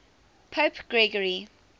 pope gregory